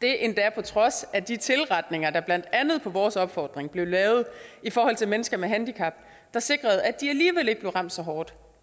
det endda på trods af de tilretninger der blandt andet på vores opfordring blev lavet for mennesker med handicap der sikrede at de alligevel ikke blev ramt så hårdt